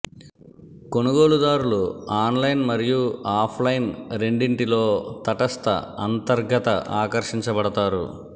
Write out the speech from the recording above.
కొనుగోలుదారులు online మరియు offline రెండింటిలో తటస్థ అంతర్గత ఆకర్షించబడతారు